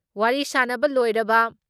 ꯋꯥꯔꯤ ꯁꯥꯟꯅꯕ ꯂꯣꯏꯔꯕ